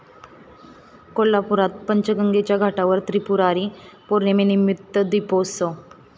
कोल्हापुरात पंचगंगेच्या घाटावर त्रिपुरारी पौर्णिमेनिमित्त दीपोत्सव